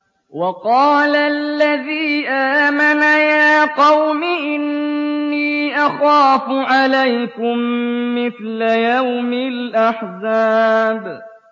وَقَالَ الَّذِي آمَنَ يَا قَوْمِ إِنِّي أَخَافُ عَلَيْكُم مِّثْلَ يَوْمِ الْأَحْزَابِ